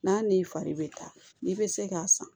N'a n'i fari bɛ taa i bɛ se k'a san